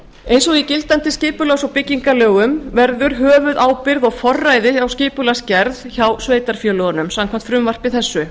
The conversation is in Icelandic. eins og í gildandi skipulags og byggingarlögum verður höfuðábyrgð og forræði á skipulagsgerð hjá sveitarfélögunum samkvæmt frumvarpi þessu